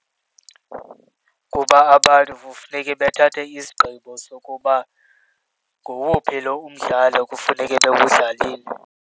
Kuba abantu kufuneke bethabathe isigqibo sokuba ngowuphi lo umdlalo kufuneke bewudlalile.